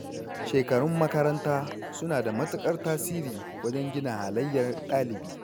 Shekarun makaranta suna da matukar tasiri wajen gina halayyar ɗalibi.